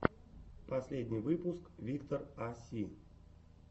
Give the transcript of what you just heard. последний выпуск виктор а си